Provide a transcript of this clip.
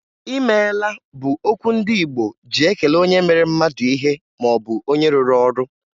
"I meela" bụ okwu ndị Igbo ji ekele onye mere mmadụ ihe maọbụ onye rụrụ ọrụ.